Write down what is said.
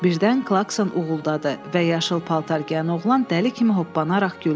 Birdən Klakson uğuldadı və yaşıl paltar geyən oğlan dəli kimi hoppanaraq güldü.